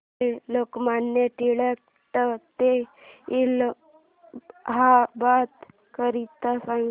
railway Lokmanya Tilak T ते इलाहाबाद करीता सांगा